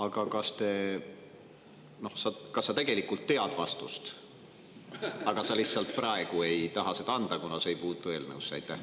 Ma küsin niimoodi: kas sa tegelikult tead vastust, aga sa lihtsalt praegu ei taha seda anda, kuna see ei puutu eelnõusse?